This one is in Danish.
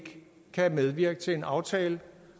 at medvirke til aftalen